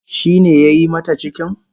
Shi ne yayi mata cikin?